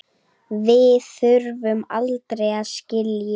Við þurfum aldrei að skilja.